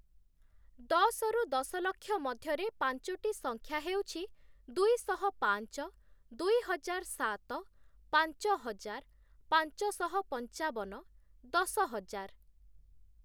ଦଶରୁ ଦଶଲକ୍ଷ ମଧ୍ୟରେ ପଞ୍ଚୋଟି ସଂଖ୍ୟା ହେଉଛି, ଦୁଇଶହ ପାଞ୍ଚ, ଦୁଇହଜାର ସାତ, ପାଞ୍ଚହଜାର, ପାଞ୍ଚଶହ ପଞ୍ଚାବନ, ଦଶ ହଜାର ।